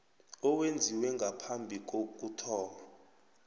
owenziwe ngaphambi kokuthoma